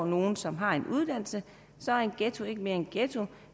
nogle som har en uddannelse så er en ghetto ikke mere en ghetto